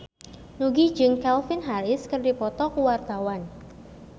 Nugie jeung Calvin Harris keur dipoto ku wartawan